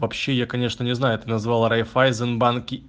вообще я конечно не знаю ты назвал райффайзен банки